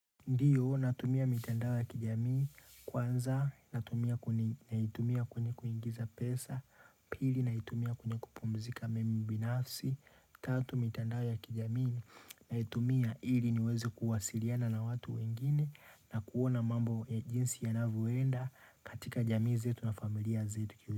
Ndiyo, natumia mitandao ya kijamii kwanza, natumia kwenye kuingiza pesa, pili, naitumia kwenye kupumzika mimi binafsi, tatu mitandao ya kijamii, naitumia ili niweze kuwasiliana na watu wengine na kuona mambo ya jinsi yanavyoenda katika jamii zetu na familia zetu.